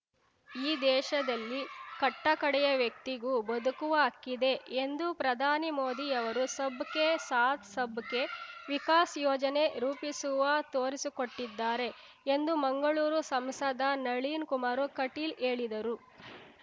ಈ ದೇಶದಲ್ಲಿ ಕಟ್ಟ ಕಡೆಯ ವ್ಯಕ್ತಿಗೂ ಬದುಕುವ ಹಕ್ಕಿದೆ ಎಂದು ಪ್ರಧಾನಿ ಮೋದಿ ಅವರು ಸಬ್ ಕೆ ಸಾಥ್ ಸಬ್ ಕೆ ವಿಕಾಸ್ ಯೋಜನೆ ರೂಪಿಸುವ ತೋರಿಸಿಕೊಟ್ಟಿದ್ದಾರೆ ಎಂದು ಮಂಗಳೂರು ಸಂಸದ ನಳಿನ್ ಕುಮಾರ್ ಕಟೀಲ್ ಹೇಳಿದರು